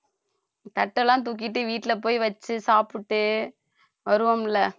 தட்டு எல்லாம் தூக்கிட்டு வீட்டுல போய் வச்சு சாப்பிட்டு வருவோம்ல